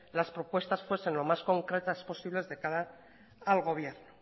las propuestas fuesen lo más concretas posibles de cara al gobierno